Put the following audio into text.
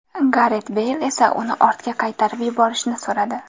Garet Beyl esa uni ortga qaytarib yuborishni so‘radi.